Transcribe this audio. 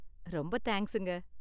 ரொம்ப தேங்க்ஸுங்க.